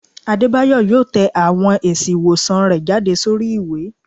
Adebayo yọọ tẹ awọn èsí iwosán rẹ jade sorí iwe